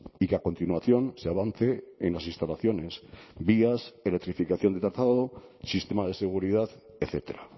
y que a continuación se avance en las instalaciones vías electrificación de trazado sistema de seguridad etcétera